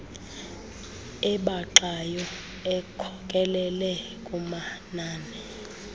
ebaxayo ekhokelele kumanani